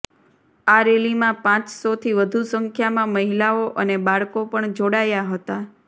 આ રેલીમાં પાંચસોથી વધુ સંખ્યામાં મહિલાઓ અને બાળકો પણ જોડાયા હતા